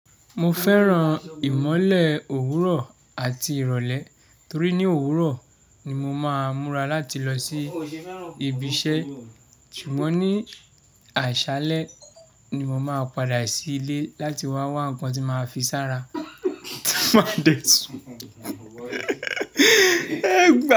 Mo fẹ́ràn ìmọ́lẹ̀ òwúrọ̀ àti ìrọ̀lẹ́ torí ní òwúrọ̀ ni mo máa múra láti lọ sí ibi iṣẹ́, ṣùgbọ́n ní àṣálẹ́ ni mo máa padà sí ilé láti wá wá ń kan tí máa fi sára máa dẹ̀tú.